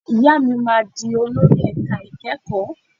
Ìyá mi máa di olórí ẹ̀ka ìkẹ́kọ̀ọ́.